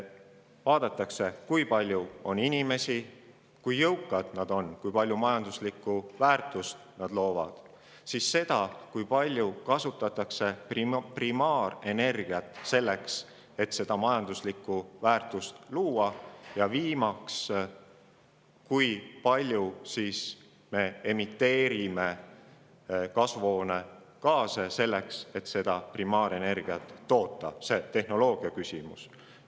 Vaadatakse, kui palju on inimesi, kui jõukad nad on, kui palju majanduslikku väärtust nad loovad, ja seda, kui palju kasutatakse primaarenergiat selleks, et majanduslikku väärtust luua, ja viimaks, kui palju emiteeritakse kasvuhoonegaase selleks, et primaarenergiat toota, ehk tehnoloogia küsimus.